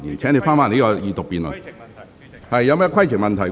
郭家麒議員，你有甚麼規程問題？